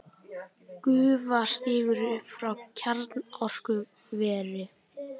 Gufa stígur upp frá kjarnorkuveri.